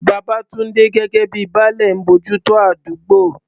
Babatunde, gẹ́gẹ́ bíi "Baale," ń bójú tó àdúgbò.